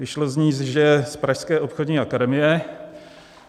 Vyšlo z ní, že je z pražské obchodní akademie.